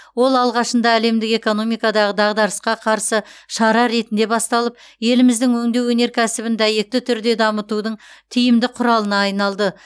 ол алғашында әлемдік экономикадағы дағдарысқа қарсы шара ретінде басталып еліміздің өңдеу өнеркәсібін дәйекті түрде дамытудың тиімді құралына айналды